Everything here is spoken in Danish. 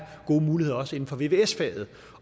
gode muligheder også inden for vvs faget